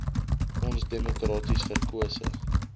ons demokraties verkose